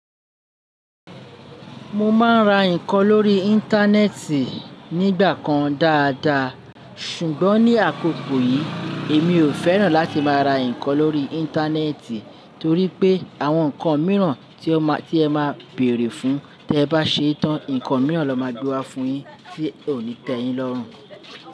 Mo máa ń ra nǹkan lórí Íńtánẹ́ẹ̀tì nígbà kan dáadaa. Ṣùgbọ́n ní àkókò yìí, èmi ò fẹ́ràn láti máa ra nǹkan lórí Íńtánẹ́ẹ̀tì torí pé àwọn nǹkan mìíràn tí ẹ máa bèèrè fún, tí ẹ bá ṣe tán, nǹkan mìíràn ló máa gbe wa fún yin tí ò ní tẹ́ yin lọ́rùn.